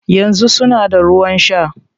Yanzu suna da ruwan shaa